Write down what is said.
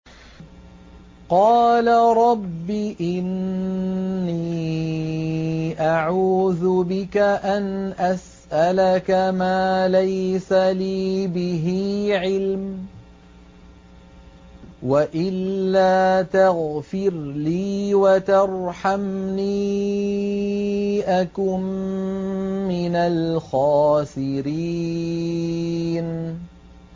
قَالَ رَبِّ إِنِّي أَعُوذُ بِكَ أَنْ أَسْأَلَكَ مَا لَيْسَ لِي بِهِ عِلْمٌ ۖ وَإِلَّا تَغْفِرْ لِي وَتَرْحَمْنِي أَكُن مِّنَ الْخَاسِرِينَ